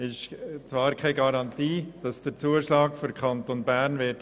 Es gibt keine Garantie dafür, dass der Kanton Bern den Zuschlag erhalten wird.